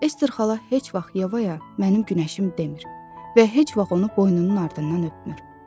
Ester xala heç vaxt Yevaya mənim günəşim demir və heç vaxt onu boynunun ardından öpmür.